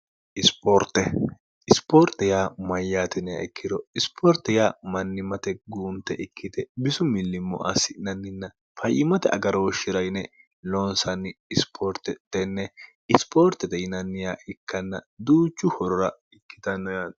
ispoorte isipoorte yaa mayyaatinea ikkiro isipoorte ya mannimate guunte ikkite bisu millimmo assi'nanninna fayyimate agarooshshi'ra yine loonsanni isipoorte tenne isipoortete yinanniyaa ikkanna duuchu horora ikkitanno yaanno